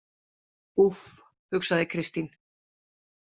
Úff, hugsaði Kristín.